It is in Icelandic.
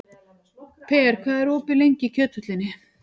Per, hvað er lengi opið í Kjöthöllinni?